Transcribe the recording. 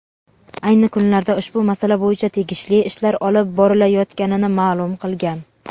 ayni kunlarda ushbu masala bo‘yicha tegishli ishlar olib borilayotganini ma’lum qilgan.